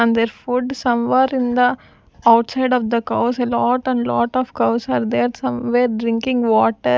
on their food some where in the outside of the cows a lot and lot of cows are there somewhere drinking water--